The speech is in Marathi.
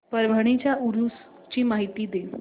परभणी च्या उरूस ची माहिती दे